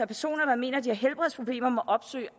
personer der mener at de har helbredsproblemer må opsøge